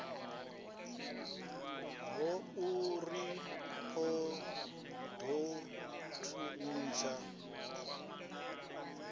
ya urui u ḓo thuntsha